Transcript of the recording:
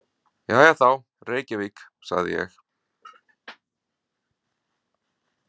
„Jæja þá, Reykjavík“ sagði ég.